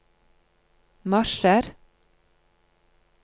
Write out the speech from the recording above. marsjer